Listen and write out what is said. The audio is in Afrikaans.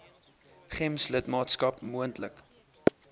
gems lidmaatskap moontlik